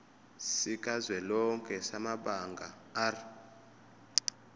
sikazwelonke samabanga r